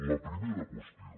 la primera qüestió